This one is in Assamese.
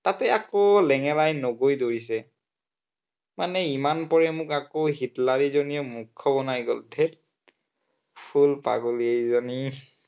তাতে আকৌ লেঙেৰাই নগৈ দৌৰিছে। মানে ইমান পৰে মোক আকৌ হিটলাৰীজনীয়ে মুৰ্খ বনাই গল ধেৎ full পাগলী এইজনী